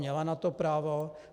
Měla na to právo?